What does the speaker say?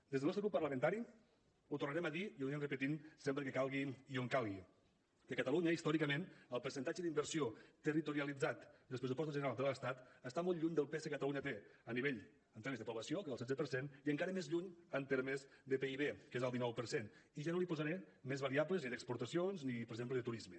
des del nostre grup parlamentari ho tornarem a dir i ho anirem repetint sempre que calgui i on calgui que a catalunya històricament el percentatge d’inversió territorialitzat dels pressupostos generals de l’estat està molt lluny del pes que catalunya té en termes de població que és del setze per cert i encara més lluny en termes de pib que és el dinou per cent i ja no li posaré més variables ni d’exportacions ni per exemple de turisme